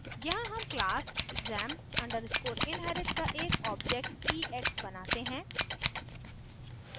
यहाँ हम class exam _ inherit का एक object ex बनाते हैं